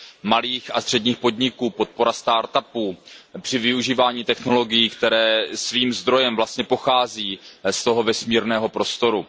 malých a středních podniků, podpora start upů při využívání technologií, které svým zdrojem vlastně pochází z toho vesmírného prostoru.